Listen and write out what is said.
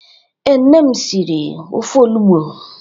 Ee, nne m siri ofe onugbu.